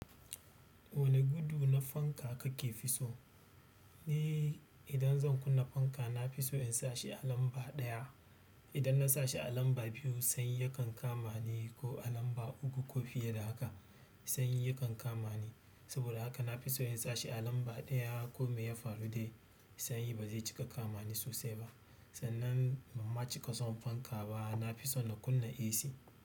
Wane gudu na fanka kake fi so? Ni idan zan kunna fanka, nafi so in sashi alamba ɗaya. Idan na sashi a lamba biyu sanyi yakan kama ni ko alamba uku ko fiye da haka sanyi yakan kama ni. Saboda haka nafi so in sashi alamba ɗaya ko mai ya faru dai sanyi bazai cika kama ni sosai ba. Sannan banma cika son fanka ba. Nafi son na kunna AC.